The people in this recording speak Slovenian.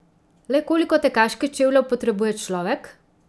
Le koliko tekaških čevljev potrebuje človek?